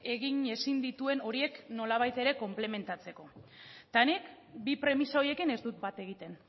egin ezin dituen horiek nolabait ere konplementatzeko eta nik bi premisa horiekin ez dut bat egiten